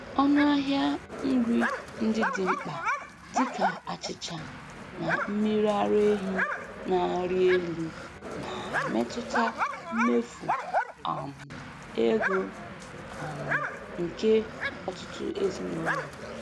Ọnụ ahịa nri ndị dị mkpa dịka achịcha na mmiri ara ehi na-arị elu na-emetụta mmefu um ego um nke ọtụtụ ezinụlọ.